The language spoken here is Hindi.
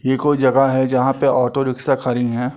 यह कोई जगह है। जहाँ पे ऑटो रिक्शा खरी हैं।